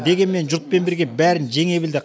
дегенмен жұртпен бірге бәрін жеңе білді